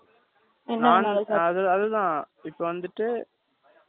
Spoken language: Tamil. இப்ப வந்துட்டு ஆ ஒரு ஆளுக்கு nine fifty வருமா